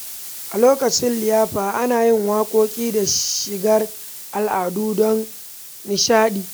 A lokacin liyafa, ana yin waƙoƙi da shigar al’adu don nishaɗi.